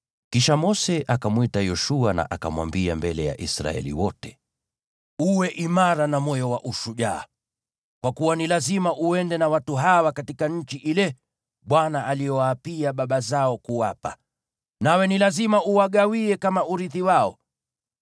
Kisha Mose akamwita Yoshua na akamwambia mbele ya Israeli wote, “Uwe imara na moyo wa ushujaa, kwa kuwa ni lazima uende na watu hawa katika nchi ile Bwana aliyowaapia baba zao kuwapa, nawe ni lazima uwagawie kama urithi wao.